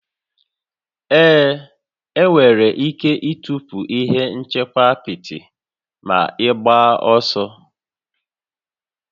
Ee, ị nwere ike ịtọpụ ihe nchekwa apịtị ma ịgbaa ọsọ